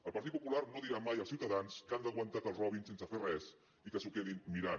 el partit popular no dirà mai als ciutadans que han d’aguantar que els robin sense fer res i que s’ho quedin mirant